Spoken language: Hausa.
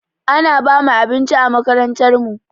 Ana bamu abinci a makarantar mu